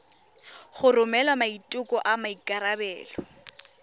go romela maiteko a maikarebelo